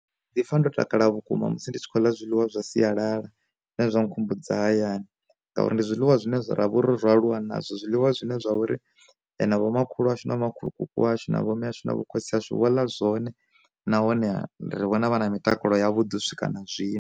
Ndi pfa ndo takala vhukuma musi ndi tshi khou ḽa zwiḽiwa, zwa sialala zwine zwa nkhumbudza hayani. N gauri ndi zwiḽiwa zwine zwa ra vha ro aluwa nazwo, zwiḽiwa zwine zwa uri na vho makhulu ashu na makhulukuku ashu na vhomme ashu na vho khotsi ashu vho ḽa zwone na hone ri vhona vha na mitakalo ya vhuḓi swika na zwino.